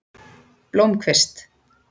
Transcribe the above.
Blómkvist